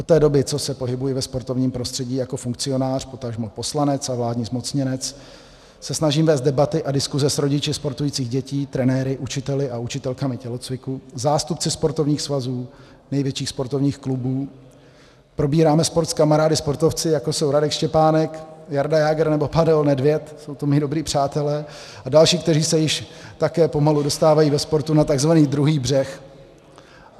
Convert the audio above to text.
Od té doby, co se pohybuji ve sportovním prostředí jako funkcionář, potažmo poslanec a vládní zmocněnec, se snažím vést debaty a diskuse s rodiči sportujících dětí, trenéry, učiteli a učitelkami tělocviku, zástupci sportovních svazů, největších sportovních klubů, probíráme sport s kamarády sportovci, jako jsou Radek Štěpánek, Jarda Jágr nebo Pavel Nedvěd, jsou to mí dobří přátelé, a další, kteří se již také pomalu dostávají ve sportu na tzv. druhý břeh.